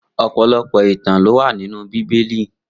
Opọlọpọ itàn ló wà ninú Bibéli